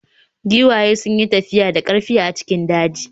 Giwaye sun yi tafiya da ƙarfi a cikin daji.